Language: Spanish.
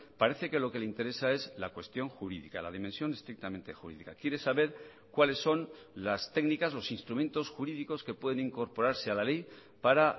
parece que lo que le interesa es la cuestión jurídica la dimensión estrictamente jurídica quiere saber cuáles son las técnicas los instrumentos jurídicos que pueden incorporarse a la ley para